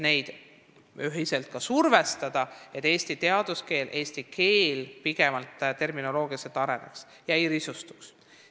Neid tuleb ühiselt survestada, et eesti teaduskeel terminoloogiliselt areneks ega risustuks.